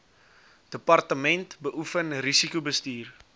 departement beoefen risikobestuur